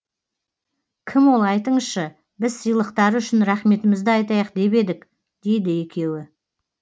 кім ол айтыңызшы біз сыйлықтары үшін рахметімізді айтайық деп едік дейді екеуі